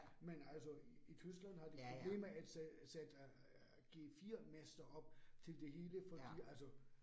Men altså i Tyskland har de problemer at sætte G 4 master op til det hele fordi altså